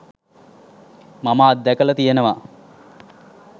මම අත් දැකල තියනවා